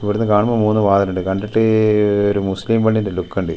പ്പൊ ഇവിടുന്ന് കാണുമ്പോ മൂന്ന് വാതിലുണ്ട് കണ്ടിട്ട് ഒരു മുസ്ലിം പള്ളിന്റെ ലുക്കുണ്ട് .